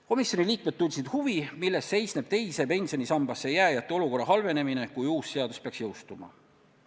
Komisjoni liikmed tundsid huvi, milles seisneb teise pensionisambasse jääjate olukorra halvenemine, kui uus seadus peaks jõustuma.